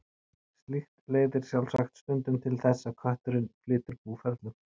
Slíkt leiðir sjálfsagt stundum til þess að kötturinn flytur búferlum.